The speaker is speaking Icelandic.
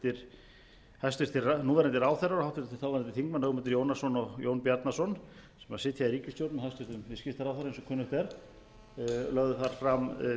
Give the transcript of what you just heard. hæstvirtur núverandi ráðherrar og háttvirtur þáverandi þingmenn ögmundur jónasson og jón bjarnason sem sitja í ríkisstjórn með hæstvirtur viðskiptaráðherra eins og kunnugt er lögðu þar fram